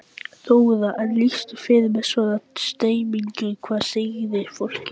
Höskuldur Kári: En eru blikur á lofti í íslensku efnahagslífi?